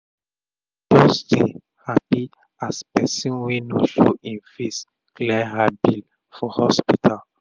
she just dey hapi as person wey no show e face clear her bill for hospital